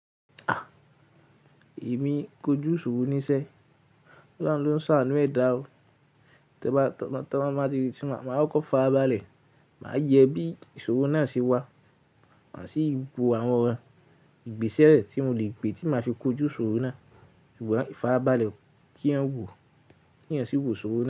Èmi kojú ìṣòro níṣẹ́. Ọ̀lohun ló ń sà ánú ẹ̀dá o. Tí mo bá tọ́, tí mo bá máa kọ́ fa abálẹ̀, màá yẹ bí ìṣòro náà ṣe wà. Màá sì wo àwọn ìgbésẹ̀ tí mo le gbe tí máa fi kojú ìṣòro náà. Ìfárabalẹ̀ kí eyan wọ́ ki eyan sì wò ìṣòro.